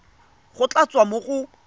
go tla tswa mo go